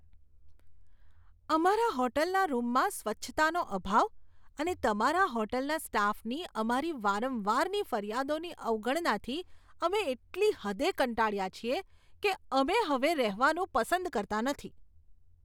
અમારા હોટેલના રૂમમાં સ્વચ્છતાનો અભાવ અને તમારા હોટેલના સ્ટાફની અમારી વારંવારની ફરિયાદોની અવગણનાથી અમે એટલી હદે કંટાળ્યા છીએ કે અમે હવે રહેવાનું પસંદ કરતા નથી.